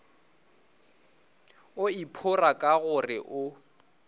o iphora ka gore o